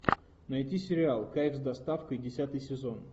найти сериал кайф с доставкой десятый сезон